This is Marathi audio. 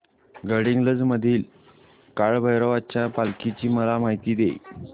गडहिंग्लज मधील काळभैरवाच्या पालखीची मला माहिती दे